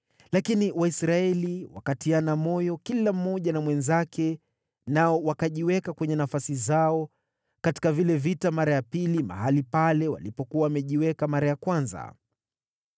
Lakini Waisraeli wakatiana moyo kila mmoja na mwenzake, nao wakajiweka kwenye nafasi zao katika vile vita mara ya pili mahali pale walipokuwa wamejiweka mara ya kwanza.